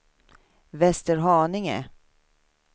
Västerhaninge